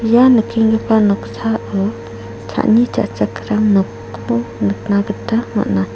ia nikenggipa noksao cha·ani cha·chakram nokko nikna gita man·a.